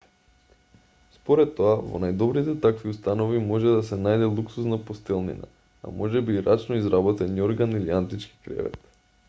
според тоа во најдобрите такви установи може да се најде луксузна постелнина а можеби и рачно изработен јорган или антички кревет